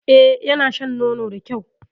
E, yana shan nono da kyau.